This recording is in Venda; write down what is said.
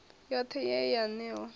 yothe ye ye ya newa